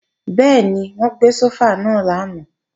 Bẹ́ẹ̀ni, wọ́n gbé sófà náà lánàá